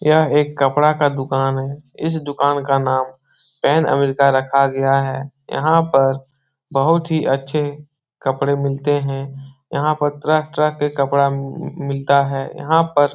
यह एक कपड़ा का दुकान है। इस दुकान का नाम पैन अमेरिका रखा गया है। यहाँ पर बहुत ही अच्छे कपड़े मिलते हैं। यहाँ पर तरह-तरह के कपड़ा मम मिलता है। यहाँ पर --